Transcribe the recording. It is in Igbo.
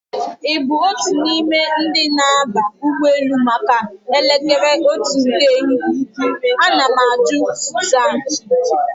Ị bụ otu n'ime ndi na-aba ụgbọelu maka elekere otu nke ehihie? Ana m ajụ Sụzan